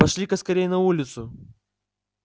пошли-ка скорей на улицу